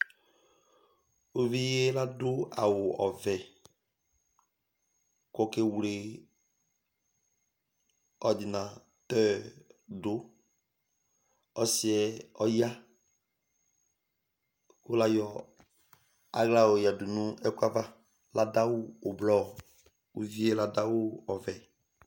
Ʋvi ye ladu awʋ ɔvɛ kʋ ɔkewele ordinateur du Ɔsi yɛ ɔya kʋ layɔ aɣla yɔ yadu nʋ ɛkʋɛ ava Ladu awʋ ɛblɔ, ʋvi ye ladu awʋ ɔvɛ